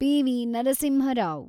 P V. Narasimha Rao